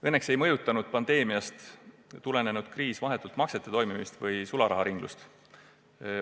Õnneks ei mõjutanud pandeemiast tulenenud kriis vahetult maksete toimimist ega sularaharinglust.